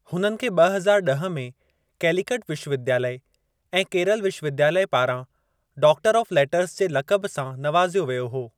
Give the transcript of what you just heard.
हुननि खे ब॒ हज़ार ॾह में कैलीकट विश्वविद्यालय ऐं केरल विश्वविद्यालय पारां डॉक्टर ऑफ़ लेटर्स जे लक़बु सां नवाज़ियो वियो हो।